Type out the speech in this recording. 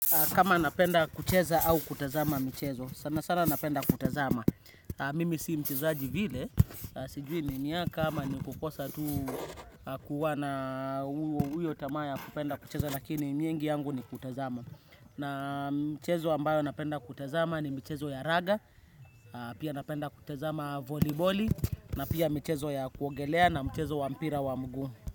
Kama napenda kucheza au kutazama michezo, sana sana napenda kutazama. Mimi si mchezaji vile, sijui ni miaka ama ni kukosa tu kuwa na uyo tamaa ya kupenda kucheza lakini mingi yangu ni kutazama. Na mchezo ambayo napenda kutazama ni mchezo ya raga, pia napenda kutazama voliboli, na pia mchezo ya kuogelea na mchezo wa mpira wa mguu.